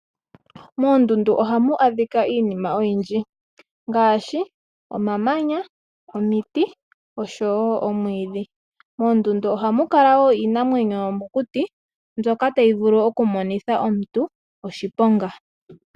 Moondunda ohamu adhika iinima oyindji ngaashi omamanya, omiti oshowoo omwiidhi. Moondunda oha mu kala wo iinamwenyo yomokuti ndjoka tayi vulu okumonitha omuntu oshiponga.